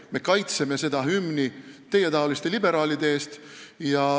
Me kaitseme seda hümni teietaoliste liberaalide eest.